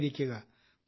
വളരെ നന്ദി